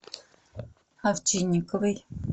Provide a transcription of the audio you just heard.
овчинниковой